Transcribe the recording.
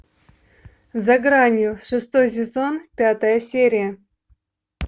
за гранью шестой сезон пятая серия